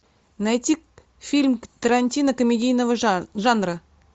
найти фильм тарантино комедийного жанра